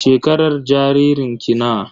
Shekarar jaririn ki nawa?